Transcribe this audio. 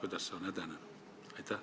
Kuidas see on edenenud?